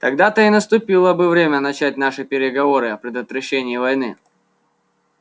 тогда-то и наступило бы время начать наши переговоры о предотвращении войны